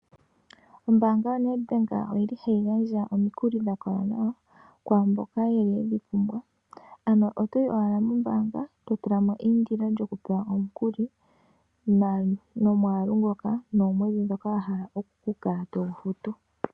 Ombaanga yoNedbank oyi li hayi gandja omikuli dha kola nawa kwaamboka ye li dhi pumbwa. Ano otoyi owala mombaanga e to tula mo eindilo lyoku pewa omukuli nomwaalu ngoka wa pumbwa osho wo uulethimbo ndyoka to kala to futu.